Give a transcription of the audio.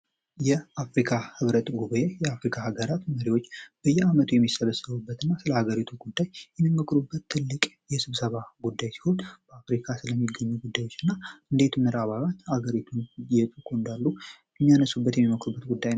የአፍሪካ ህብረት ጉባኤ የአፍሪካ ሀገራት መሪዎች በየ ዓመቱ የሚሰበሰቡበት እና ስለ ሀገሪቱ ጉዳይ የሚመክሩበት ትልቅ የስብሰባ ጉዳይ ሲሆን በአፍሪካ ስለሚገኙ ጉዳዮች እና እንዴት መራባውያን ሀገሪቱን የጡ ቁንዳሉ የሚያነሱበት የሚመክሩበት ጉዳ